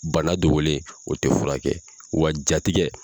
Bana dogolen o tɛ fura kɛ wa jatigɛ